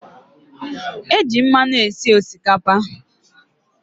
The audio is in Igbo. E j mmanụ esi Osikapa